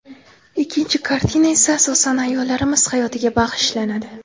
Ikkinchi kartina esa asosan ayollarimiz hayotiga bag‘ishlanadi”.